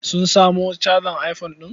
Sun samo cajar iphone ɗin?